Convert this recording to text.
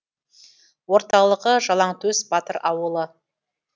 орталығы жалаңтөс батыр ауылы